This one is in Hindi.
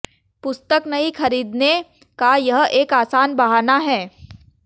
पुस्तक नहीं खरीदने का यह एक आसान बहाना है